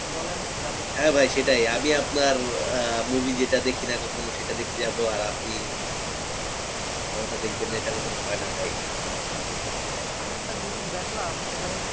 বলেন যাবো। হ্যাঁ ভাই সেটাই আমি আপনার আহ movie যেটা দেখিনা কখনো সেটা দেখতে যাবো আর আপনি আমার টা দেখবেন না এটা কখনো হয় না ভাই হ্যাঁ হ্যাঁ আমি একটা জিনিস দেখলাম সেটা হচ্ছে